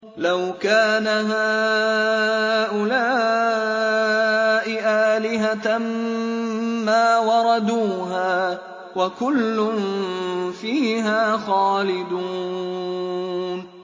لَوْ كَانَ هَٰؤُلَاءِ آلِهَةً مَّا وَرَدُوهَا ۖ وَكُلٌّ فِيهَا خَالِدُونَ